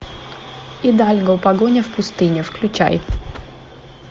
идальго погоня в пустыне включай